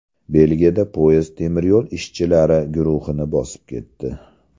Belgiyada poyezd temir yo‘l ishchilari guruhini bosib ketdi.